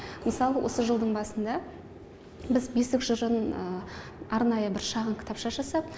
мысалы осы жылдың басында біз бесік жырын арнайы бір шағын кітапша жасап